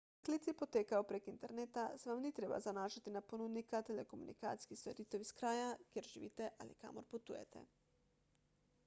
ker klici potekajo prek interneta se vam ni treba zanašati na ponudnika telekomunikacijskih storitev iz kraja kjer živite ali kamor potujete